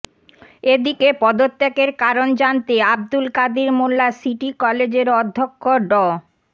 এদিকে পদত্যাগের কারণ জানতে আবদুল কাদির মোল্লা সিটি কলেজের অধ্যক্ষ ড